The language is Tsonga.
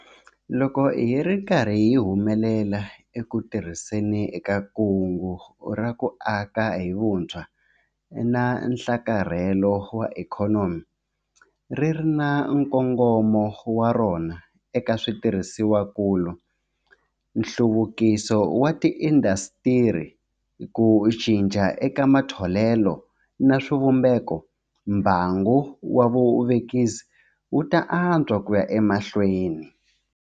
Loko hi ri karhi hi humelela eku tirhiseni ka Kungu ra ku Aka hi Vutshwa na Nhlakarhelo wa Ikhonomi ri ri na nkongomo wa rona eka switirhisiwakulu, nhluvukiso wa tiindasitiri, ku cinca eka matholelo na swivumbeko mbangu wa vuvekisi wu ta antswa ku ya emahlweni.